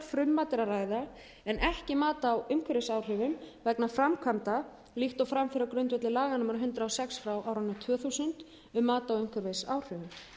ræða en ekki mat á umhverfisáhrifum vegna framkvæmda líkt og fram fer á grundvelli laga númer hundrað og sex tvö þúsund um mat á umhverfisáhrifum